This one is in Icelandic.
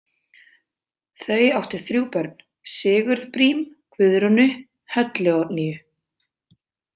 Þau áttu þrjú börn, Sigurð Brím, Guðrúnu, Höllu Oddnýju.